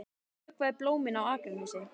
Ég vökvaði blómin á Akranesi.